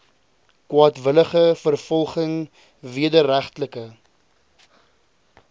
kwaadwillige vervolging wederregtelike